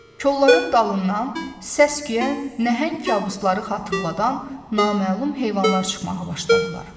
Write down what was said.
Kolların dalından, səs-küyə nəhəng kabusları xatırladan naməlum heyvanlar çıxmağa başladılar.